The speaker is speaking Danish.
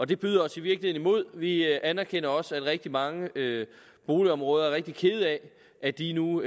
det byder os i virkeligheden imod vi anerkender også at de i rigtig mange boligområder er rigtig kede af at de nu